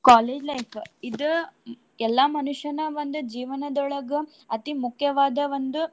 College life ಇದ ಎಲ್ಲಾ ಮನುಷ್ಯನ ಒಂದ್ ಜೀವನದೊಳಗ ಅತೀ ಮುಖ್ಯವಾದ ಒಂದು.